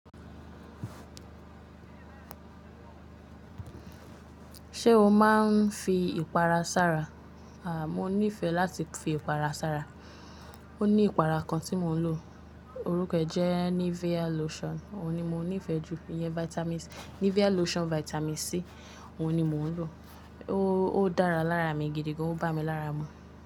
Ṣé o máa ń fi ìpara sára? Mo nífẹ̀ẹ́ láti fi ìpara sára. Ó ní ìpara kan tí mò ń lò, orúkọ jẹ́ Nivea Lotion. Òun ni mo nífẹ̀ẹ́ jù. Ìyẹn Vitamin C, Nivea Lotion Vitamin C, òun ni mò ń lò. Ó dára lára mi gidi gan, ó bá mi lára mu.